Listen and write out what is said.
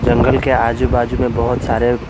जंगल के आजू बाजू में बहोत सारे--